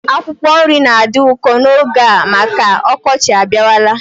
Akwụkwọ nri na-adị ụkọ n'oge a maka m ọkọchị abịawala